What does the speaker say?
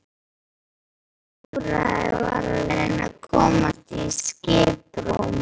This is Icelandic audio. Eina úrræðið var að reyna að komast í skiprúm.